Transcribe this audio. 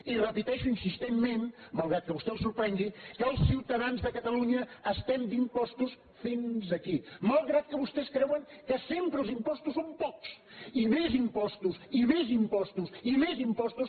i repeteixo insistentment malgrat que a vostè el sorprengui que els ciutadans de catalunya estem d’impostos fins aquí malgrat que vostès creuen que sempre els impostos són pocs i més impostos i més impostos i més impostos